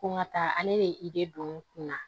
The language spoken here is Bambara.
Ko n ka taa ale de don n kun na